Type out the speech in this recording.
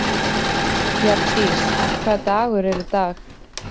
Bjarndís, hvaða dagur er í dag?